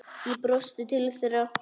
Ég brosti til þeirra.